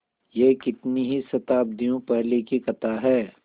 यह कितनी ही शताब्दियों पहले की कथा है